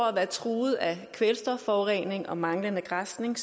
at være truet af kvælstofforurening og manglende græsning